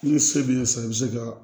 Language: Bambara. N'i se b'i ye sisan i bɛ se ka